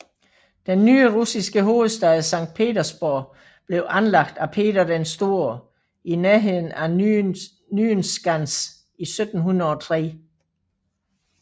Den nye russiske hovedstad Sankt Petersborg blev anlagt af Peter den Store i nærheden af Nyenskans i 1703